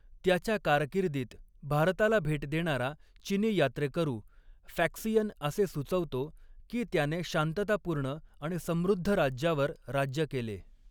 त्याच्या कारकिर्दीत भारताला भेट देणारा चिनी यात्रेकरू फॅक्सियन असे सुचवतो की त्याने शांततापूर्ण आणि समृद्ध राज्यावर राज्य केले.